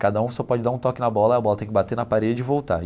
Cada um só pode dar um toque na bola e a bola tem que bater na parede e voltar.